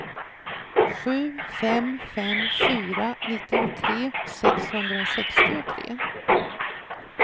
sju fem fem fyra nittiotre sexhundrasextiotre